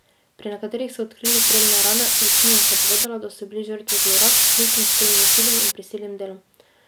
Pri nekaterih so odkrili strelne rane, večina jih je povedala, da so bili žrtve zlorab, vključno s spolnim nasiljem in prisilnim delom.